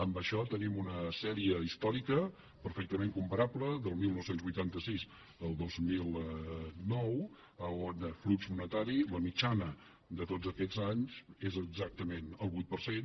amb això tenim una sèrie històrica perfectament comparable del dinou vuitanta sis al dos mil nou on flux monetari la mitjana de tots aquests anys és exactament el vuit per cent